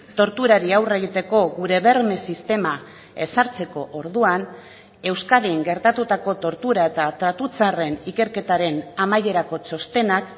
torturari aurre egiteko gure berme sistema ezartzeko orduan euskadin gertatutako tortura eta tratu txarren ikerketaren amaierako txostenak